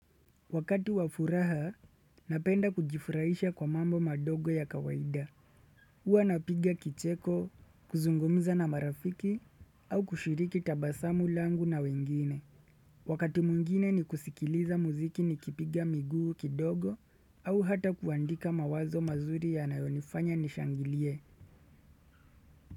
Wakati wafuraha, napenda kujifurahisha kwa mambo madogo ya kawaida. Huwa napiga kicheko, kuzungumza na marafiki, au kushiriki tabasamu langu na wengine. Wakati mwingine ni kusikiliza muziki nikipiga miguu kidogo, au hata kuandika mawazo mazuri yanayonifanya nishangilie.